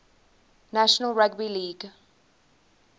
national rugby league